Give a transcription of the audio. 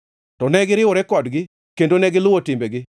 to ne giriwore kodgi kendo negiluwo timbegi.